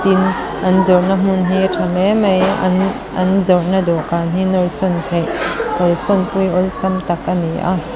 tin an zawrhna hmun hi a tha hle mai an an zawrhna dawhkan hi nawr sawn theih kalsanpui awlsam tak a ni a.